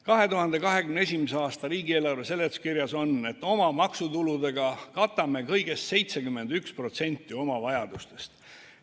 2021. aasta riigieelarve seletuskirjas on, et oma maksutuludega katame kõigest 71% oma vajadustest.